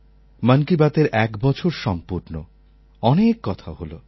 মন কি বাতএর এক বছর সম্পূর্ণ অনেক কথা হলো